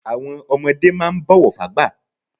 Àwọn ọmọdé máà ń bọ̀wọ̀ fágbà